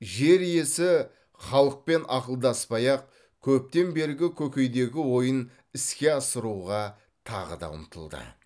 жер иесі халықпен ақылдаспай ақ көптен бергі көкейдегі ойын іске асыруға тағы да ұмтылды